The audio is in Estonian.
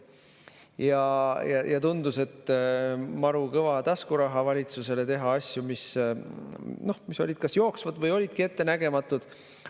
Ja see tundus maru kõva taskuraha valitsusele teha asju, mis olid kas jooksvad või olidki ettenägematud.